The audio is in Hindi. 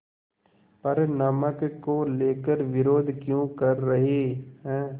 पर नमक को लेकर विरोध क्यों कर रहे हैं